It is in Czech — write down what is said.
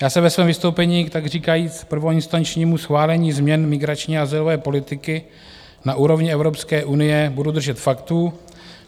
Já se ve svém vystoupení, takříkajíc prvoinstančnímu schválení změn migrační a azylové politiky na úrovni Evropské unie, budu držet faktů.